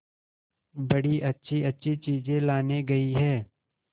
बड़ी अच्छीअच्छी चीजें लाने गई है